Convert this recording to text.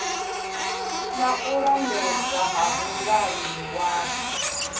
na u lambedzwa ha vhongwaniwapo